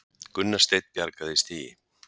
Gunnar Steinn bjargaði stigi